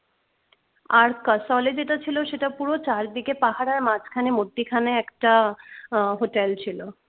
আর kasol এ যেটা ছিল সেটা পুরো চারদিকে পাহাড় আর মাঝখানে মধ্যিখানে একটা আহ হোটেল ছিল